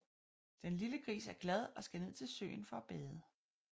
Den lille gris er glad og skal ned til søen for at bade